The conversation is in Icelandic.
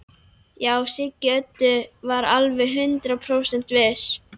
Já, Siggi Öddu var alveg hundrað prósent viss.